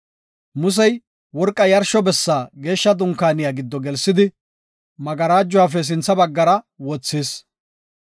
Musey, worqa yarsho bessa Geeshsha Dunkaaniya giddo gelsidi, magarajuwafe sintha baggara wothis.